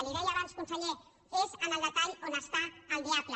li ho deia abans conseller és en el detall on està el diable